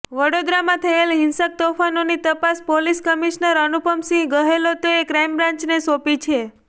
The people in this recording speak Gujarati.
વડોદરામાં થયેલાં હિંસક તોફાનોની તપાસ પોલીસ કમિશનર અનુપમ સિંહ ગહેલોતે ક્રાઇમ બ્રાન્ચને સોંપી છે